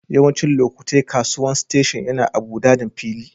Yawancin lokatai kasuwan station yana a'budaden fili.